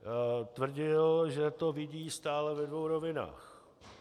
Tvrdil, že to vidí stále ve dvou rovinách.